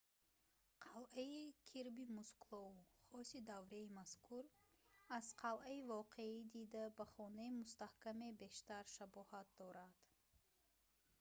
қалъаи кирби мукслоу хоси давраи мазкур аз қалъаи воқеӣ дида ба хонаи мустаҳкаме бештар шабоҳат дорад